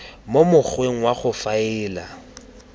mo mokgweng wa go faela